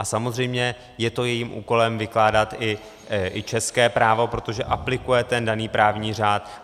A samozřejmě je to jejím úkolem vykládat i české právo, protože aplikuje ten daný právní řád.